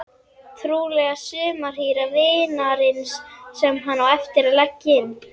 Trúlega sumarhýra vinarins sem hann á eftir að leggja inn.